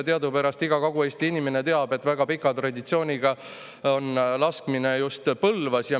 Teadupärast iga Kagu-Eesti inimene teab, et just Põlvas on laskmisega väga pikk traditsioon.